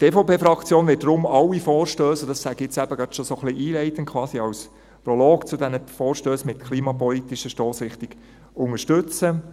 Die EVP-Fraktion wird deshalb alle Vorstösse unterstützen, und dies sage ich jetzt schon so ein bisschen einleitend, quasi als Prolog zu diesen Vorstössen mit klimapolitischer Stossrichtung.